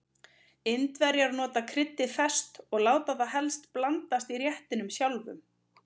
Indverjar nota kryddið ferskt og láta það helst blandast í réttinum sjálfum.